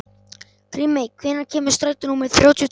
Grímey, hvenær kemur strætó númer þrjátíu og tvö?